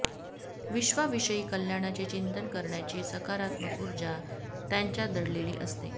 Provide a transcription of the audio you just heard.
विश्वाविषयी कल्याणाचे चिंतन करण्याची सकारात्मक उर्जा त्यांच्यात दडलेली असते